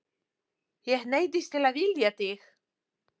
Ég neyddist til að vilja þig.